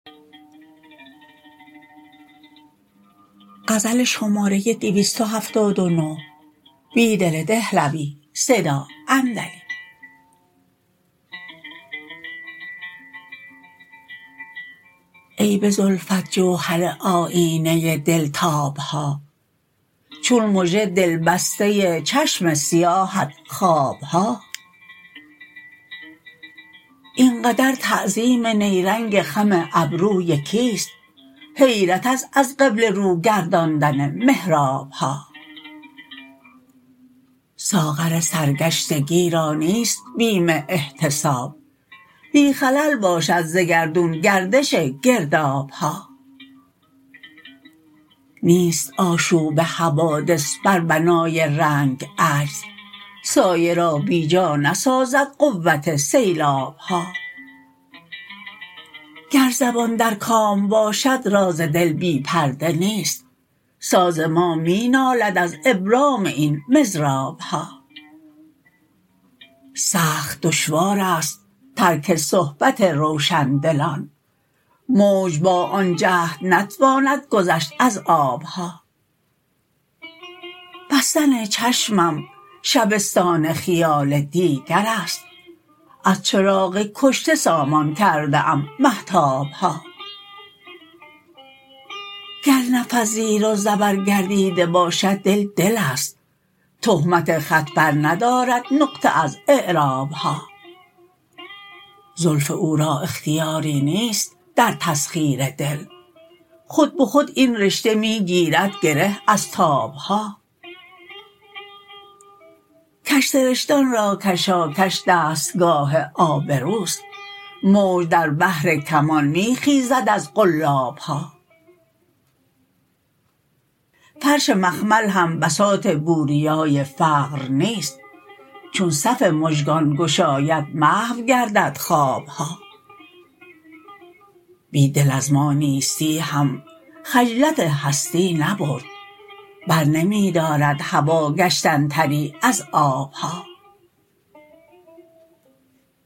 ای به زلفت جوهر آیینه دل تاب ها چون مژه دل بسته چشم سیاهت خواب ها اینقدر تعظیم نیرنگ خم ابروی کیست حیرت است از قبله رو گرداندن محراب ها ساغر سرگشتگی را نیست بیم احتساب بی خلل باشد ز گردون گردش گرداب ها نیست آشوب حوادث بر بنای رنگ عجز سایه را بی جا نسازد قوت سیلاب ها گر زبان در کام باشد راز دل بی پرده نیست ساز ما می نالد از ابرام این مضراب ها سخت دشوار است ترک صحبت روشن دلان موج با آن جهد نتواند گذ شت از آب ها بستن چشمم شبستان خیال دیگرست از چراغ کشته سامان کرده ام مهتاب ها گر نفس زیر و زبر گردیده باشد دل دل است تهمت خط برندارد نقطه از اعراب ها زلف او را اختیاری نیست در تسخیر دل خودبه خود این رشته می گیرد گره از تاب ها کج سرشتان را کشاکش دستگاه آبروست موج در بحر کمان می خیزد از قلاب ها فرش مخمل هم بساط بوریای فقر نیست چون صف مژگان گشاید محو گر دد خواب ها بیدل از ما نیستی هم خجلت هستی نبرد برنمی دارد هوا گشتن تری از آب ها